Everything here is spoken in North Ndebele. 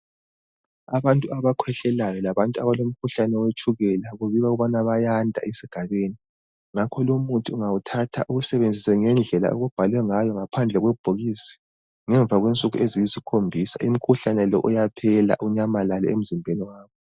Abantu abakhwehlelayo labantu abalomkhuhlane wetshukela kubikwa ukubana bayanda esigabeni. Ngakho lomuthi ungawuthatha uwusebenzise ngendlela okubhalwe ngayo ngaphandle kwebhokisi ngemva kwensuku eziyisikhombisa umkhuhlane lo uyaphela, unyamalale emzimbeni wakho.